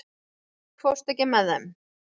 Sigurbjörg, ekki fórstu með þeim?